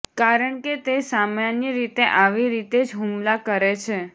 કારણ કે તે સામાન્ય રીતે આવી રીતે જ હુમલા કરે છે